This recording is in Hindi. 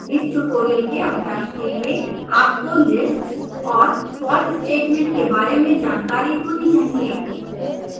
इस ट्यूटोरियल के अभ्यास के लिए आपको lists और for statement के बारे में जानकारी होनी चाहिए